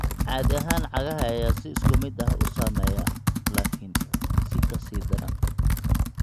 Caadi ahaan cagaha ayaa si isku mid ah u saameeya, laakiin si ka sii daran.